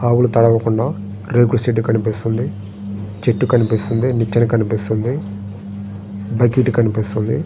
ఆవులు తడవకుండా రేకుల షెడ్డు కనిపిస్తుంది. నిచ్చిన కనిపిస్తుంది. బకెట్ కనిపిస్తుంది.